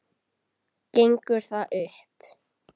Gengur það upp?